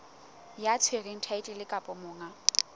ya tshwereng thaetlele kapa monga